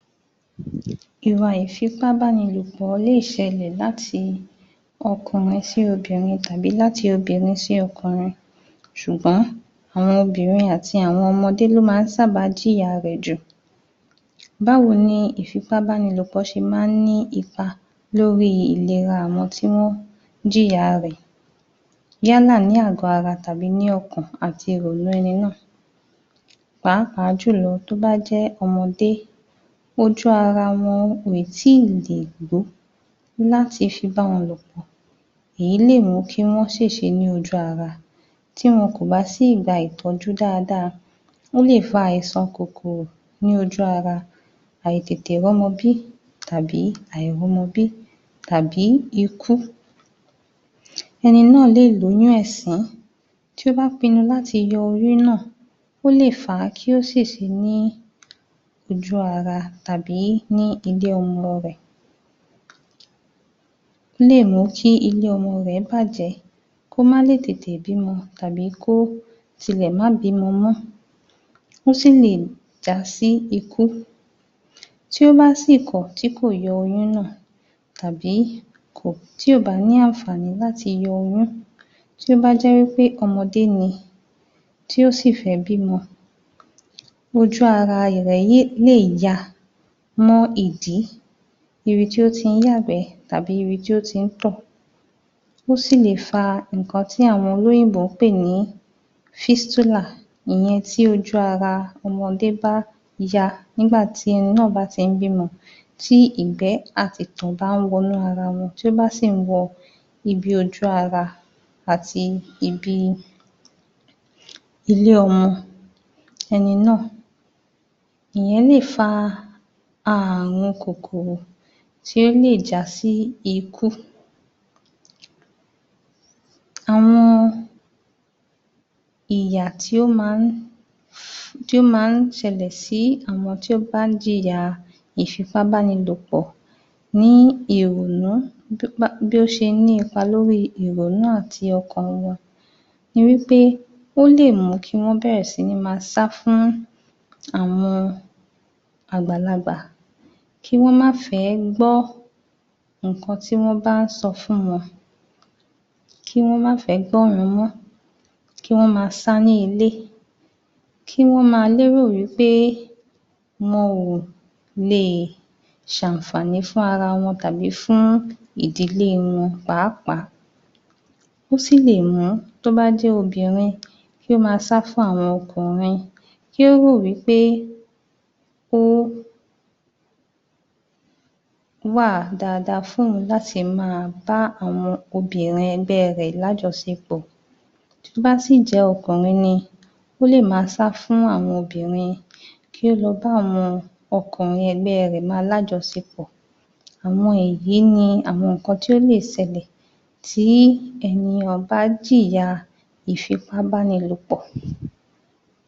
21. Ìwà ìfipábánilòpọ̀ lè ṣẹlẹ̀ láti ọkùnrin sí obìnrin tàbí láti obinrin sí ọkùnrin ṣùgbọ́n àwọn obìnrin àti àwọn ọmọdé ló sábà máa ń jìyà rẹ̀ jù. Báwo ni ìfipábánilòpọ̀ ṣe máa ń ní ipa lórí ìlera àwọn tí wọ́n ń jìyà rẹ̀ yálà ní àgọ́ ara tàbí ní ọkàn àti ìrònú ẹni náà pàápàá jùlọ tó bá jẹ́ ọmọdé, ojú ara wọn ò tíì lè gbó láti fi báwọn lòpọ̀, èyí lè mú kí wọ́n ṣèṣe ni ojú ara tí tí wọn kò bá sì gba ìtọ́jú dáadáa, ó lè fa àìsàn kòkòrò ní ojú ara, àìtètè rọ́mọbí tàbí àìrọ́mọbí tàbí ikú. Ẹni náà lè lóyún ẹ̀sín tí ó bá pinnu láti yọ oyún náà, ó lè fa kó ṣèṣe ní ojú ara tàbí ní ilé-ọmọ rẹ̀. Ó lè mú kí ilé ọmọ rẹ̀ bàjẹ́ kó má tètè lè bí'mọ tàbí kí ó tilẹ̀ má bìímọ mọ́. Ó sì lè jásí ikú, tí ó bá sì kọ̀ tí kò yọ oyún náà tàbí tí ò bá ní àǹfààní láti yọ oyún, tí ó bá jẹ́ pé ọmọdé ni, tí ó sì fẹ́ bímọ ojú ara rẹ̀ lè ya mọ́ ìdí, ibi tí ó ti ń yàgbẹ́ tàbí ibi tí ó ti ń tọ̀, ó sì lè fa nnkan tí àwọn olóyìnbó ń pè ní físítúlà ìyẹn tí ojú ara ọmọdé bá ya nígbà tí ọmọ náà bá ti ẹ̀ ń bí'mọ tí ìgbẹ́ àti ìtọ̀ bá ń wọnú ara wọn, tí ó bá sì ń wọ ibi ojú ara ati ibi ilé-ọmọ ẹni náà, ìyẹn lè fa ààrùn kòkòrò tí ó lè jásí ikú. Àwọn ìyà tí ó má ń um ṣẹlẹ̀ sí àwọn tí ó bá ń jìyàa ìfipábánilòpọ̀ ní ìrònú um bí ó ṣe ní ipa lóríi ìrònú àti ọkàn wọn ní wí pé ó lè mú kí wọ́n bẹ̀rẹ̀ sí máa sá fún àwọn àgbàlagbà kí wọ́n má fẹ̀ẹ́ gbọ́ nǹkan tí wọ́n bá ń sọ fún wọn, kí wọ́n má fẹ̀ẹ́ gbọ́ wọn mọ́, kí wọ́n máa rí ní ilé, kí wọ́n máa lérò wí pé wọn ò leè ṣ'àǹfààní fún ara wọn tàbí fún ìdílé wọn pàápàá. Ó sì lè mùn ún tí ó bá jẹ́ obìnrin kí ó máa sá fún àwọn ọkùnrin kí ó rò wí pé ó wà dáadáa fún òun láti máa bá àwọn obìnrin ẹgbẹ́ rẹ̀ lájọṣepọ̀. Tí ó bá sì jẹ́ ọkùnrin ni ó lè máa sá fún àwọn obìnrin, kí ó máa bá àwọn ọkùnrin ẹgbẹ́ rẹ̀ máa lájọṣepọ̀. Àwọn èyí ni àwọn nǹkan tí ó lè ṣẹlẹ̀ tí ènìyàn bá yìyàa ìfipábánilòpọ̀.